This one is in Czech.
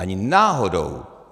Ani náhodou.